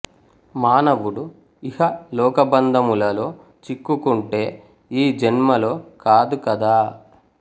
మానవుడు ఇహ లోకబంధములలో చిక్కుకుంటే ఈ జన్మలో కాదు కదా